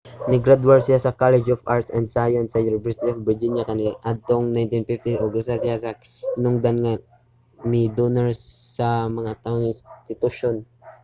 nigradwar siya sa college of arts & science sa university of virginia kaniadtong 1950 ug usa siya ka hinungdanong mi-donar sa mao nga institusyon